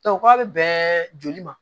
k'a bɛ bɛn joli ma